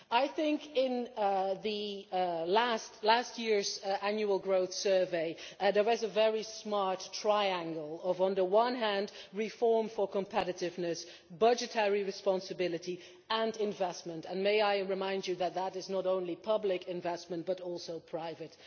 I think that in last year's Annual Growth Survey there was a very smart triangle of reform for competitiveness, budgetary responsibility and investment and may I remind you that that is not only public investment but also private.